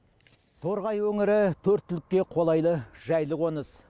торғай өңірі төрт түлікке қолайлы жайлы қоныс